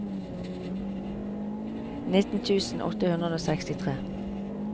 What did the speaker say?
nitten tusen åtte hundre og sekstitre